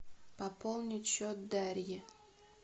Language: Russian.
пополнить счет дарьи